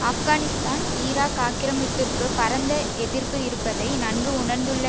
Afghanistan Iraq ஆக்கிரமிப்பிற்கு பரந்த எதிர்ப்பு இருப்பதை நன்கு உணர்ந்துள்ள